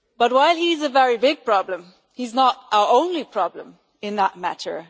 While he is a very big problem, he is not our only problem in that matter.